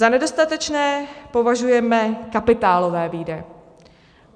Za nedostatečné považujeme kapitálové výdaje.